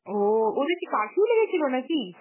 ও ওদের কি curfew লেগেছিল নাকি?